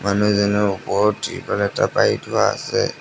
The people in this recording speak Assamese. মানুহজনৰ ওপৰত ত্ৰিপাল এটা পাৰি থোৱা আছে।